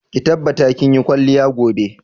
Ki tabbata kin yi kwalliya gobe!